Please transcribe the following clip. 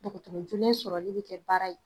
Dukuturun julen sɔrɔli bi kɛ baara ye